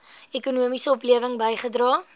ekonomiese oplewing bygedra